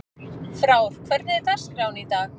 Frár, hvernig er dagskráin í dag?